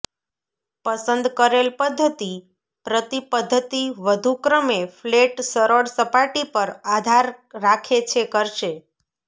પસંદ કરેલ પદ્ધતિ પ્રતિ પદ્ધતિ વધુ ક્રમે ફ્લેટ સરળ સપાટી પર આધાર રાખે છે કરશે